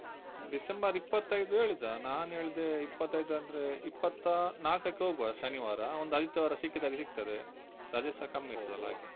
December ಇಪತ್ತೈದು ಹೇಳಿದ ನಾನು ಹೇಳ್ದೆ ಇಪ್ಪತೈದು ಅಂದ್ರೆ ಇಪ್ಪತ್ತ ಆ ನಾಲ್ಕಕ್ಕೆ ಹೋಗುವ ಶನಿವಾರ ಒಂದು ಆದಿತ್ಯವಾರ ಸಿಕ್ಕಿದಾಗೆ ಸಿಗ್ತದೆ ರಜೆಸ ಕಮ್ಮಿ ಇರ್ತದಲ್ಲ ಹಾಗೆ.